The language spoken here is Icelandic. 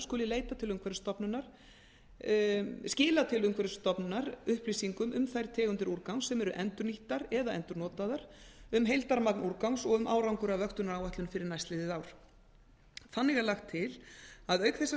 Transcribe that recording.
skuli skila til umhverfisstofnunar upplýsingum um þær tegundir úrgangs sem eru endurnýttar eða endurnotaðar um heildarmagn úrgangs og um árangur af vöktunaráætlun fyrir næstliðið ár þannig er lagt til að auk þess að